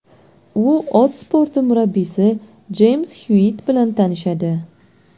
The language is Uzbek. U ot sporti murabbiysi Jeyms Xyuitt bilan tanishadi.